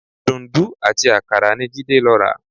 Dùǹdú àti àkàrà ni Jídé lọ rà